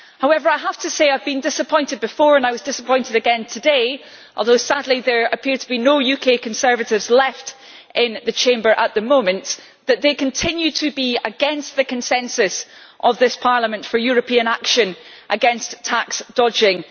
However, I have to say that I have been disappointed before and I was disappointed again today although sadly there appear to be no UK Conservatives left in the Chamber at the moment that they continue to be against the consensus of this Parliament for European action against tax dodging.